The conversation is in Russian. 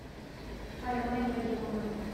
алима ибрагимовна